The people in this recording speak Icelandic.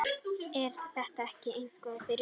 Er þetta ekki eitthvað fyrir ykkur